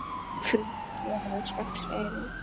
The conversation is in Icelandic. Flutt verða sex erindi.